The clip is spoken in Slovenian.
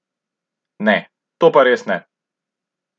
Ne, to pa res ne!